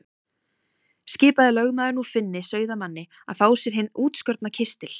Skipaði lögmaður nú Finni sauðamanni að fá sér hinn útskorna kistil.